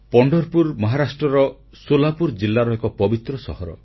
ପଣ୍ଢରପୁର ମହାରାଷ୍ଟ୍ରର ସୋଲାପୁର ଜିଲ୍ଲାର ଏକ ପବିତ୍ର ସହର